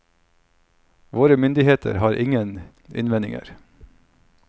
Våre myndigheter har ingen innvendinger.